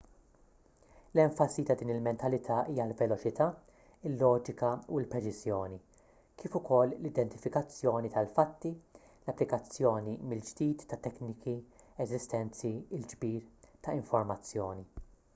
l-enfasi ta' din il-mentalità hija l-veloċità il-loġika u l-preċiżjoni kif ukoll l-identifikazzjoni tal-fatti l-applikazzjoni mill-ġdid ta' tekniki eżistenti il-ġbir ta' informazzjoni